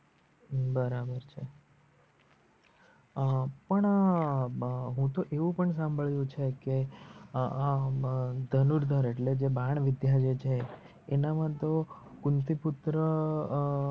બરાબર છે. અ પણ અ એવું સંબડિયું છે કે અ અ ધનુર્ધર એટલે બાણવિધ્ય છે જે એ એનામાં તો કુંનતી પુત્ર અ